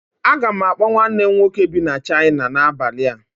Aga m akpọ nwanne m nwoke bi na China n'abalị a